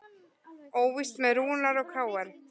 Óvíst með Rúnar og KR